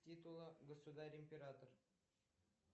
титула государь император